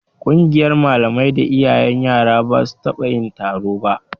Ƙungiyar malamai da iyayen yaran ba su taɓa yin taro ba